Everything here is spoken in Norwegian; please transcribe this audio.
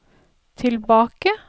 tilbake